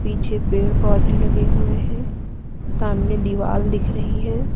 पीछे पेड़ पौधे लगे हुए हैं सामने दीवाल दिख रही है।